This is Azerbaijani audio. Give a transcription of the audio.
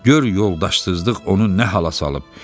Gör yoldaşsızlıq onu nə hala salıb.